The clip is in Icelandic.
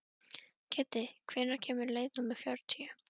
Kiddi, hvenær kemur leið númer fjörutíu?